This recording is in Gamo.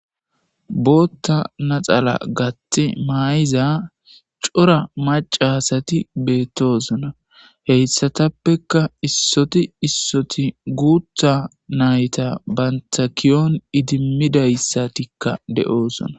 Bootha naxala gathi mayiza daro maca asati betosona , heysatppeka issoti issoti guutha nayta ki'on idimidaysatika de'osona.